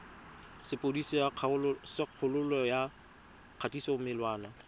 sepodisi sa kgololo ya kgatisomenwa